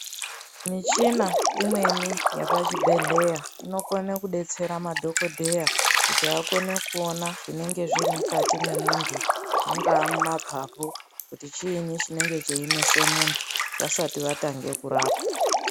Michina imweni yapa chibhedhleya inokone ku detsera madhokodheya kuti akone kuona zvinenge zviri mukati me muntu mungaa mu mapapu kuti chinyi chinenge chei nese muntu vasati vatange kurapa.